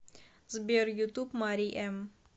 сбер ютуб мари эм